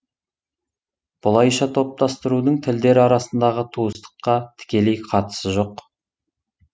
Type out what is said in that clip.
бұлайша топтастырудың тілдер арасындағы туыстыққа тікелей қатысы жоқ